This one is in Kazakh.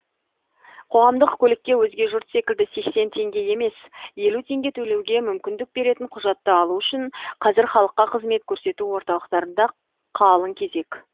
қоғамдық көлікке өзге жұрт секілді сексен теңге емес елу теңге төлеуге мүмкіндік беретін құжатты алу үшін қазір халыққа қызмет көрсету орталықтарында қалың кезек